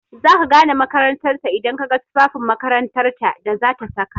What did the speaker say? Za ka gane makarantar ta idan ka ga tufafin makarantar da zata saka.